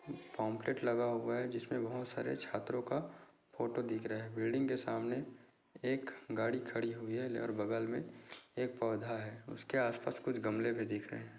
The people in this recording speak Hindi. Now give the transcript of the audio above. पम्पलेट लगा हुआ है जिसमें बोहोत सारे छात्रो का फोटो दिख रहा है बिल्डिंग के सामने एक गाड़ी खड़ी हुई है लहर बगल में एक पौधा है उसके आस पास कुछ गमले भी दिख रहे है।